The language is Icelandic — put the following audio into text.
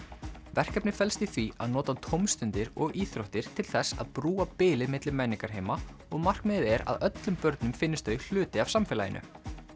verkefnið felst í því að nota tómstundir og íþróttir til þess að brúa bilið milli menningarheima og markmiðið er að öllum börnum finnist þau hluti af samfélaginu